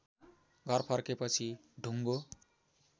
घर फर्केपछि ढुङ्गो